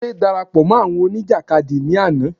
Délé darapọ̀ mọ́ àwọn òní ìjàkadì ní àná